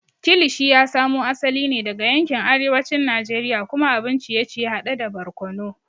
Kilishi ya samo asali ne daga yankin arewacin Najeriya kuma abun ciye-ciye hade da barkono.